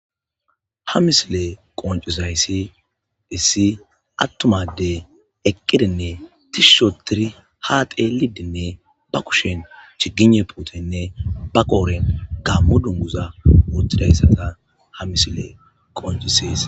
ha misile qoncizayssi issi attuma addey eqqidinne tishshi oothidi haa xeellidenne ba kushen chigine puutenne ba qooren gammo dunguza wothiayssata ha misile qoncisees